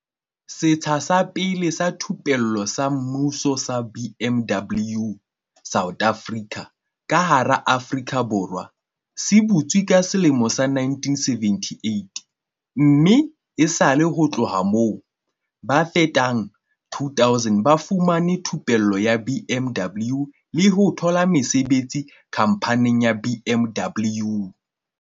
"Setsha sa pele sa thupello sa semmuso sa BMW South Africa ka hara Aforika Borwa se butswe ka selemo sa 1978 mme esale ho tloha moo, ba fetang 2 000 ba fumane thupello ya BMW le ho thola mesebetsi khamphaning ya BMW."